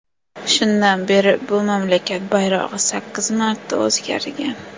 Shundan beri bu mamlakat bayrog‘i sakkiz marta o‘zgargan.